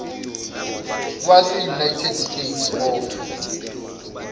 waseunited states of